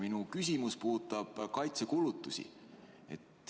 Minu küsimus puudutab kaitsekulutusi.